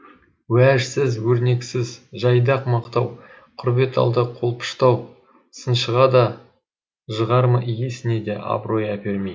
уәжсіз өрнексіз жайдақ мақтау құр бет алды қолпыштау сыншыға да жығарма иесіне де абырой әпермей